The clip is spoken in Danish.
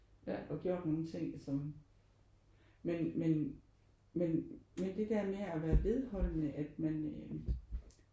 Og gjort nogle ting som men men men men det der med at være vedholdende at man øh